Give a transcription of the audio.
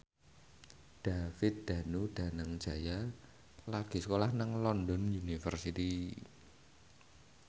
David Danu Danangjaya lagi sekolah nang London University